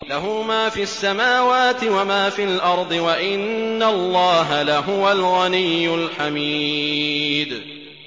لَّهُ مَا فِي السَّمَاوَاتِ وَمَا فِي الْأَرْضِ ۗ وَإِنَّ اللَّهَ لَهُوَ الْغَنِيُّ الْحَمِيدُ